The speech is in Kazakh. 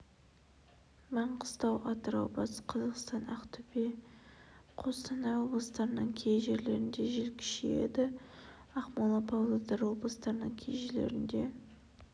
маңғыстау атырау батыс қазақстан ақтөбе қостанай облыстарының кей жерлерінде жел күшейді ақмола павлодар облыстарының кей жерлерінде